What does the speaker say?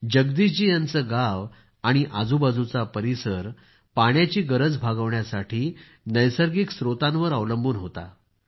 जगदीशजी यांचं गाव आणि आजूबाजूचा परिसर पाण्याची गरज भागविण्यासाठी नैसर्गिक स्त्रोतांवर अवलंबून होता